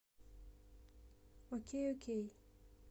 окей окей